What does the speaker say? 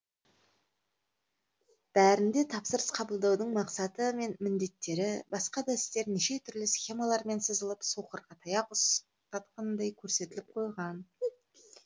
бәрінде тапсырыс қабылдаудың мақсаты мен міндеттері басқа да істері неше түрлі схемалармен сызылып соқырға таяқ ұстатқандай көрсетіліп қойған